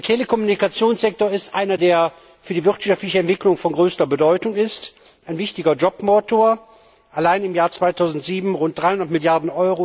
Der Telekommunikationssektor ist ein Sektor, der für die wirtschaftliche Entwicklung von größter Bedeutung ist, ein wichtiger Jobmotor. Allein im Jahr 2007 waren es rund 300 Mrd.